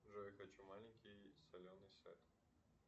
джой хочу маленький соленый сет